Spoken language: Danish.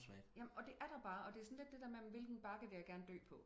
jamen og det er der bare og det er sådan lidt det der med hvad for en bakke vil jeg gerne dø på